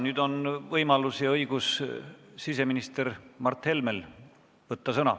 Nüüd on siseminister Mart Helmel võimalus ja õigus sõna võtta.